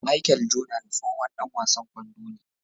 Machel Jordan tsohon Dan wasan kwando ne